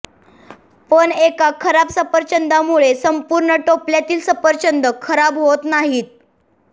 पण एका खराब सफरचंदामुळे संपूर्ण टोपल्यातील सफरचंदं खराब होत नाहीत